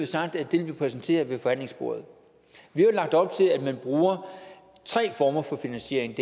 sagt at det vil vi præsentere ved forhandlingsbordet vi har jo lagt op til at man bruger tre former for finansiering